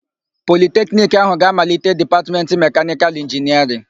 Politekiniki áhụ̀ ga-amalite Dipatmentị Mekanịkalụ Inginịarịn.